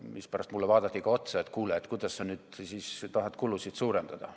Siis vaadati mulle otsa, et kuule, kuidas sa nüüd siis tahad kulusid suurendada.